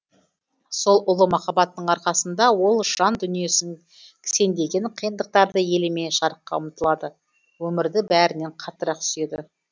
сол ұлы махаббаттың арқасында ол жан дүниесін кісендеген қиындықтарды елемей жарыққа ұмыталады өмірді бәрінен қаттырақ сүйеді